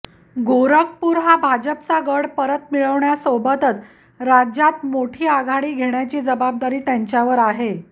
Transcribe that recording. गोरखपूर हा भाजपचा गड परत मिळवण्यासोबतच राज्यात मोठी आघाडी घेण्याची जबाबदारी त्यांच्यावर आहे